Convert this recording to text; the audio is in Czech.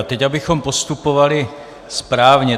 A teď abychom postupovali správně.